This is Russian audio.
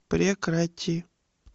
прекрати